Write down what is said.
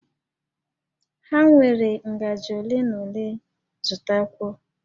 Ha nwere ngajị ole na ole, zụtakwuo!